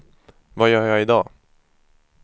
vad gör jag idag